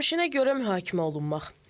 Keçmişinə görə mühakimə olunmaq.